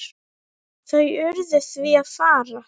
Þau urðu því að fara.